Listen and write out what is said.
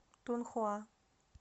тунхуа